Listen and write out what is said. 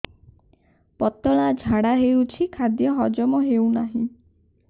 ପତଳା ଝାଡା ହେଉଛି ଖାଦ୍ୟ ହଜମ ହେଉନାହିଁ